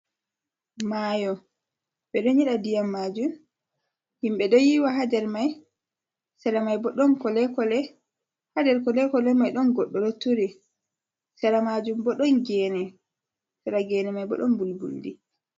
Mayo ɓe ɗon nyeɗa diyam majum, himɓe ɗo yiwa hander mai, sera mai bo ɗon kolekole ha nder kole kole mai ɗon goɗɗo ɗo tura, sera majun bo ɗon gene sera gene mai bo ɗon mbulbuldi.